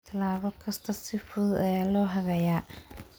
Tallaabo kasta si fudud ayaa loo hagayaa.